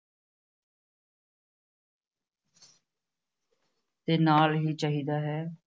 ਤੇ ਨਾਲ ਹੀ ਚਾਹੀਦਾ ਹੈ l